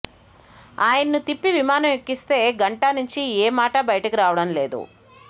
ఆయన్ను తిప్పి విమానం ఎక్కిస్తే గంటా నుంచి ఏ మాటా బయటకు రావడం లేదు